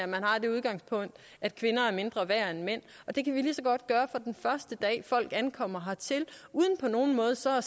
man har det udgangspunkt at kvinder er mindre værd end mænd og det kan vi lige så godt gøre fra den første dag folk ankommer hertil uden på nogen måde at så